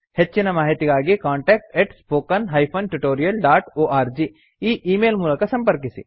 ಹೆಚ್ಚಿನ ಮಾಹಿತಿಗಾಗಿ contactspoken tutorialorg ಈ ಈ ಮೇಲ್ ಮೂಲಕ ಸಂಪರ್ಕಿಸಿ